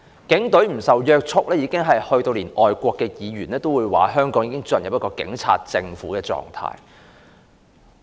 警隊不受約束，連外國的議員也指香港進入警察政府的狀態。